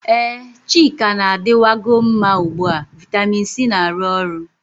Ee, chika na-adịwan go mma ugbu a vitamin C na-arụ ọrụ.